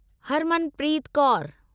Harmanpreet Kaur